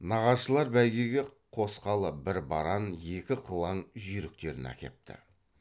нағашылар бәйгеге қосқалы бір баран екі қылаң жүйріктерін әкепті